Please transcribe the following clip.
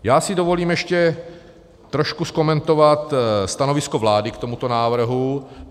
Já si dovolím ještě trošku okomentovat stanovisko vlády k tomuto návrhu.